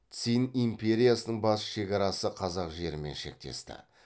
цинь империясының батыс шекарасы қазақ жерімен шектесті